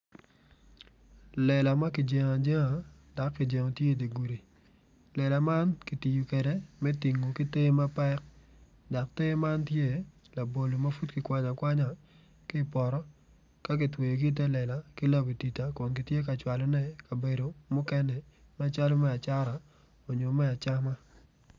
Lela ma kijengo ajenga dok kijengo ti i di gudi lela man ki tiyo kede me tingo te mapek dok te man tye labolo ma pud ki kwanyo akwanya ki ipoto ka kitweyogi ite lela ki labatida kun gitye ka cwalone i kabedo mukene macalo me acata onyo me acama